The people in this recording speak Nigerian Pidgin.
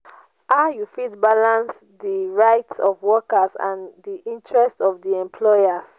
how you fit balanace di rights of workers and di interests of di employers?